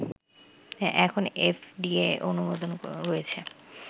এখন F D A অনুমোদন রয়েছে